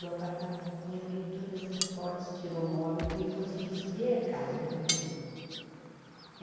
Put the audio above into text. do apartamento, e abriu todas as portas, tirou o móvel, que ele conseguisse ver a casa, o movimento.